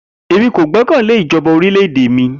Emi ko gbẹkẹle ijọba ti orilẹ-ede mi.